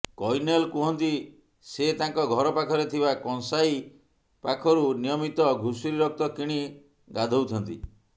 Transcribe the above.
କୈନେଲ କୁହନ୍ତି ସେ ତାଙ୍କ ଘର ପାଖରେ ଥିବା କଂସାଇ ପାଖରୁ ନିୟମିତ ଘୁଷୁରୀ ରକ୍ତ କିଣି ଗାଧୋଇଥାନ୍ତି